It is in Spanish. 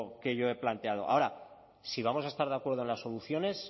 que yo he planteado ahora si vamos a estar de acuerdo en las soluciones